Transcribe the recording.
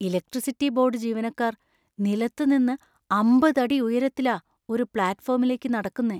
Electricity board ജീവനക്കാർ നിലത്തു നിന്ന് അമ്പത് അടി ഉയരത്തിലാ ഒരു പ്ലാറ്റ്ഫോമിലേക്ക് നടക്കുന്നെ.